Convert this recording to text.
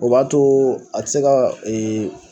O b'a too a ti se ka